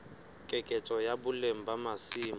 keketseho ya boleng ba masimo